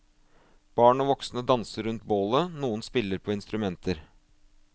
Barn og voksne danser rundt bålet, noen spiller på instrumenter.